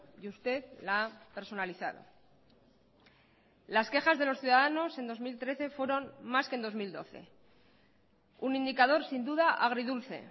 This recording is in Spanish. y usted la ha personalizado las quejas de los ciudadanos en dos mil trece fueron más que en dos mil doce un indicador sin duda agridulce